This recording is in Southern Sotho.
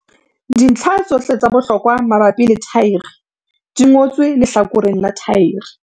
Dintlha tsohle tsa bohlokwa mabapi le thaere di ngotswe lehlakoreng la thaere.